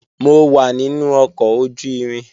Mo wà nínú ọkọ̀ ojú-irin